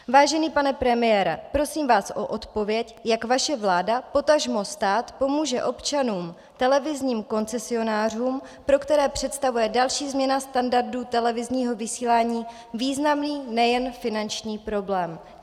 Vážený pane premiére, prosím vás o odpověď, jak vaše vláda, potažmo stát, pomůže občanům, televizním koncesionářům, pro které představuje další změna standardu televizního vysílání významný nejen finanční problém.